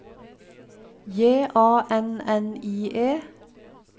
J A N N I E